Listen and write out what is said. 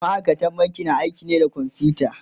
ma'aikatan banki na aiki ne da kwamfuta